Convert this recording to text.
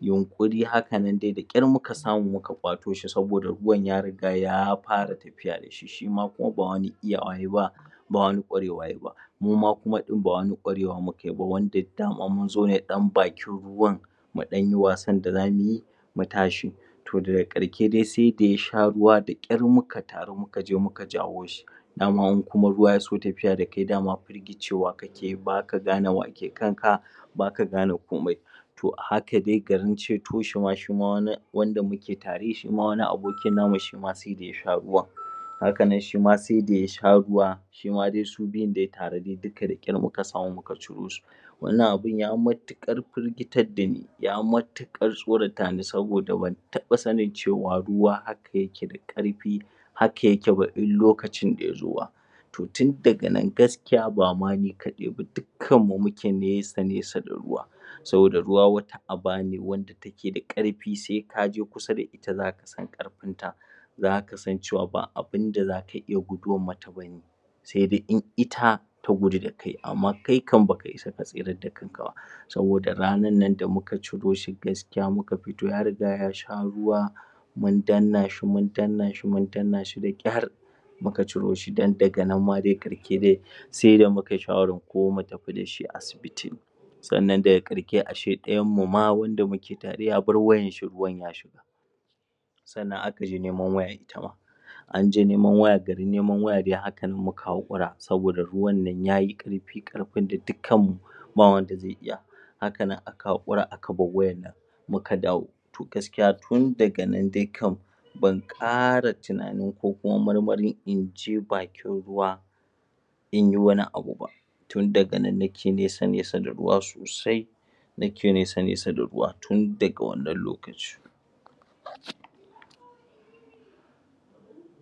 yunƙuri hakanan da ƙyar muka samu muka wato shi saboda ruwan ya riga ya fara tafiya da shi. Shi ma kuma ba wani iya yayi ba, ba wani ƙwarewa yayi ba. Muma kuma din ba wani ƙwarewa mukayi b wanda dama mun zo ne a ɗan bakin ruwan mu ɗanyi wasan da zamu yi, mu tashi. To daga ƙarshe dai sai da ya sha ruwa da ƙyar muka taru muka je muka jawo shi. Dama in kuma ruwa tya so tafiya da kai dama cewa kake baka gane wake kanka ba ka gane komai To a haka dai garin ceto shi ma wani wanda muke tere, shi ma wani abokin namu shi ma sai da ya sha ruwan. Hakanan shi ma sai da ya sha ruwa shima dai su biyun tare dai duka da ƙyar muka samu muka ciro su. Wannan abin ya matuƙar firgitar da ni, ya matuƙar tsoratani saboda ban taba sanin cewa rua haka yake daƙarfi haka yake ba in lokacin ya ke zuwa. To tun daga nan gaskiya bama ni ba dukanmu muke nesa nesa da ruwa. saboda ruwa wani aba ne wanda ke da ƙarfi sai kaje ku sa da shi za ka gane ƙarfinsa, zka san cewa ba abun da zaka iya guduwar masa ba ne sai dai in ita ta gudu da kai amma kai kam baka isa ka tsirar da kanka ba. Saboda ranar nan da muka ciro shi gaskiya muka fito ya riga ya sha ruwa, mun danna shi mun danna shi da ƙyar, muka ciro shi dan daga nan ma ƙarke dai sai da mum kai shawaran ko mu tafi da shi asibiti. Sannan da ƙarshe ashe ɗayan mu ma wanda muke tare ya bar wayar shi ruwan ya shiga. Sannan aka je neman wayar itama anje neman waya garin neman waya dai hakanan muka haƙura saboda ruwan nan yayi ƙarfi, ƙarfin da dukan mu ba wanda zai iya hakanan aka haƙura aka bar wayar nan muka dawo. To gaskiya tun daga nan dai kam ban ƙara tunanin komawa ko marmarin in je bakin ruwa ba in yi wani abu ba, tun daga nan nake nesa nesa da ruwa sosai, nake neasa nesa da ruwa tun daga wannan l;okaci.